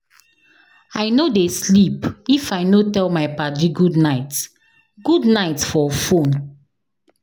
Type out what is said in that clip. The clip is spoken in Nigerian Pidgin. I no dey sleep if I no tell my paddy goodnight goodnight for fone.